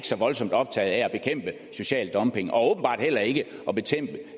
så voldsomt optaget af at bekæmpe social dumping og åbenbart heller ikke af